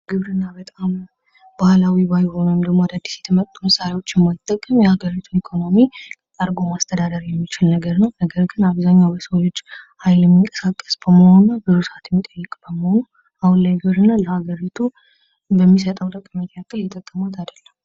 ግብርና በጣም ባህላዊ ባልሆነ ወይም ደግሞ አዳዲስ የመጡ መስሪያዎች ባይጠቀም የአገሪቱ ኢኮኖሚ አርጎ ማስተዳደር የሚችል ነገር ነው። ነገር ግን አብዛኛው የሰው ልጅ ሀይሌ የሚንቀሳቀስ በመሆኑ አሁን ላይ እየተጠቀሙት አይደለም።